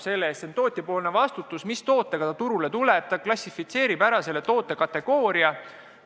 See on tootjapoolne vastutus, mis tootega ta turule tuleb, ta ise klassifitseerib toote kategooria.